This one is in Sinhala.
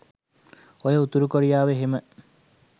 ඔය උතුරු කොරියාව එහෙම